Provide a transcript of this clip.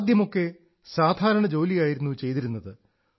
ആദ്യമൊക്കെ സാധാരണ ജോലിയായിരുന്നു ചെയ്തിരുന്നത്